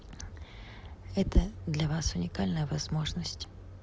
это для вас уникальная возможность